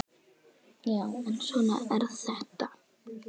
Já, en svona er þetta.